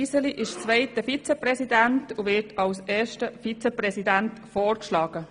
Iseli ist zweiter Vizepräsident und wird als erster Vizepräsident vorgeschlagen.